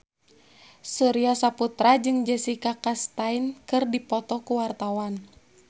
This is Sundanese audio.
Surya Saputra jeung Jessica Chastain keur dipoto ku wartawan